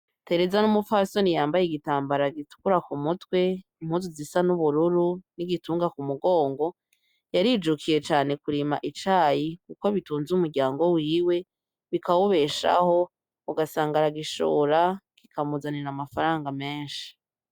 Tereza n'umufasoni yambaye igitambara gitukura kumutwe, impuzu zisa n'ubururu, n'igitunga kumugongo, yarijukiye kurima icayi ko bitunze umuryango wiwe, bikawubeshaho ugasanga arabishora bikamuzanira amafaranga menshi.